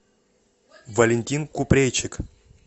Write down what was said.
валентин купрейчик